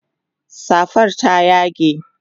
safar ta ya yage